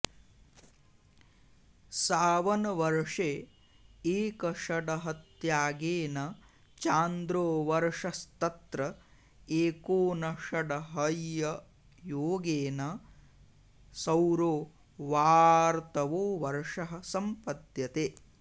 सावनवर्षे एकषडहत्यागेन चान्द्रो वर्षस्तत्र एकोनषडहइययोगेन सौरो वाऽऽर्तवो वर्षः सम्पद्यते